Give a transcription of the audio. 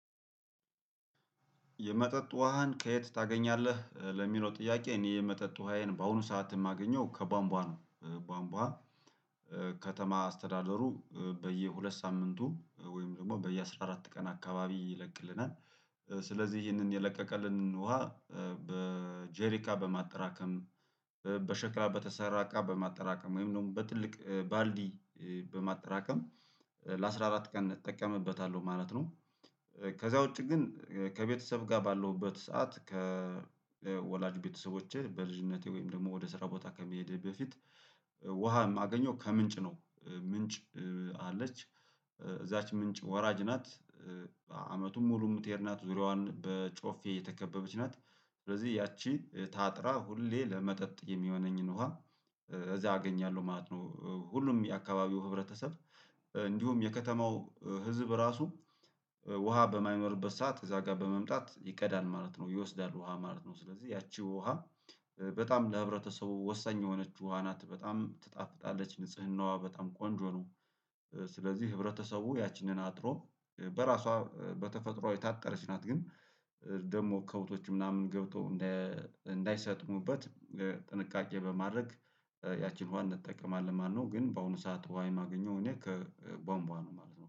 የመጠጥ ውሃን ከየት ታገኛለህ ለሚለው ጥያቄ እኔ የመጠጥ ውሃዬን በአሁኑ ሰዓት የማገኘው ከቧንቧ ነው። ቧንቧ ከተማ አስተዳደሩ በየሁለት ሳምንቱ ወይም ደግሞ በየአስራ አራት ቀን አካባቢ ይለቅልናል። ስለዚህ ይሄንን የለቀቀልንን ውሃ በጄሪካ በማጠራከም በሸክላ በተሰራ እቃ በማጠራከም ወይም ነው በትልቅ ባልዲ በማጠራቀም ለአሥራ አራት ቀን እጠቀምበታለሁ ማለት ነው። ከዛ ውጪ ግን ከቤተሰብ ጋር ባለሁበት ሰዓት ከወላጅ ቤተሰቦቼ በልጅነቴ ወይም ደግሞ ወደ ስራ ቦታ ከመሄድ በፊት። ውሃ የማገኘው ከምንጭ ነው። ምንጭ አለች እዛች ምንጭ ወራጅ ናት። አመቱን ሙሉ የምትሄድ ናት ዙሪያዋን በጮፌ የተከበበች ናት። ስለዚህ ያቺ ታጥራ ሁሌ ለመጠጥ የሚሆነኝን ውሃ እዚያ አገኛለሁ ማለት ነው። ሁሉም የአካባቢው ህብረተሰብ እንዲሁም የከተማው ህዝብ ራሱ። ውሃ በማይመርበት ሰዓት እዛ ጋር በመምጣት ይቀዳል ማለት ነው ይወስዳል ውሃ ማለት ነው። ስለዚህ ያቺ ውሃ በጣም ለህብረተሰቡ ወሳኝ የሆነችው አናት በጣም ትጣፍጣለች ንጽህናዋ በጣም ቆንጆ ነው። ስለዚህ ህብረተሰቡ ያችንን አጥሮ በራሷ በተፈጥሮአዊ ታጠረች ናት ግን። ደግሞ ከብቶች ምናምን ገብቶ እንደ እንዳይሰጥሙበት ጥንቃቄ በማድረግ ያቺን ውሃ እንጠቀማለን። ማነው ግን በአሁኑ ሰዓት ውሃ የማገኘው እኔ ከቧንቧ ነው ማለት ነው